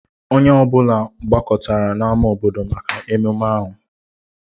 Onye ọ bụla gbakọtara n'ámá obodo maka ememme ahụ